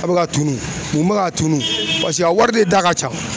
A bɛ ka tuni nin bɛ ka tuni paseke a wari de da ka can.